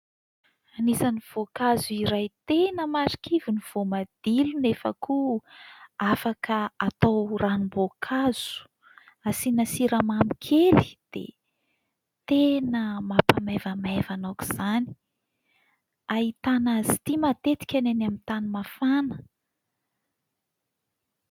Anisan'ny voankazo iray tena marikivy ny voamadilo, nefa koa afaka atao ranom-boankazo. Asiana siramamy kely dia tena mampamaivamaivana aoka izany. Ahitana azy ity matetika ny any amin'ny tany mafana.